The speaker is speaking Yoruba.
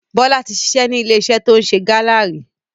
Bọlá tí ṣiṣẹ́ ni ilé iṣẹ́ to ń ṣe Gala ríi.